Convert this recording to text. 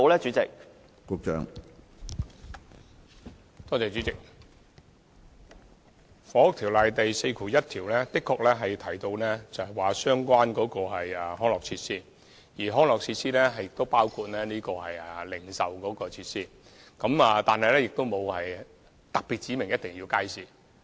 主席，《房屋條例》第41條的確提到相關的康樂設施，而康樂設施亦包括零售設施，但並無特別指明必定要有街市。